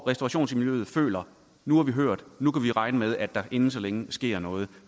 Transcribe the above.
restaurationsmiljøet føler nu er vi hørt nu kan vi regne med at der inden så længe sker noget